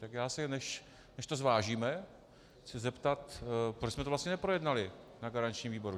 Tak já se, než to zvážíme, chci zeptat, proč jsme to vlastně neprojednali na garančním výboru.